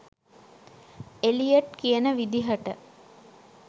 Elliot කියන විදිහට